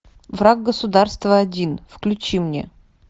враг государства один включи мне